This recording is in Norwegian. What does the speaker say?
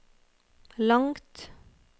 langt